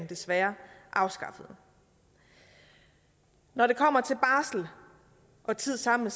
desværre afskaffede når det kommer til barsel og tid sammen